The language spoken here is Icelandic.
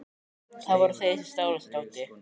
Það voru þeir sem stálu þessu dóti.